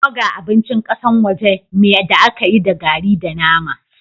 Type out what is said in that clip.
Burger abincin kasan waje me da aka yi da garri da nama.